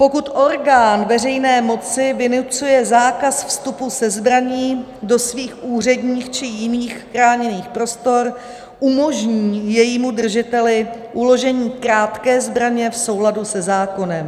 Pokud orgán veřejné moci vynucuje zákaz vstupu se zbraní do svých úředních či jiných chráněných prostor, umožní jejímu držiteli uložení krátké zbraně v souladu se zákonem.